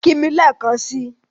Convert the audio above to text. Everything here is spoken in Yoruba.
Kí mì lẹ̀ekàn sí!